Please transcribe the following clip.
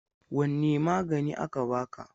Wanne magani aka baka?